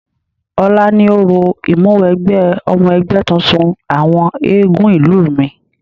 Ọ̀la ni orò ìmúwẹgbẹ́ ọmọ ẹgbẹ́ tuntun àwọn eégún ìlú mi.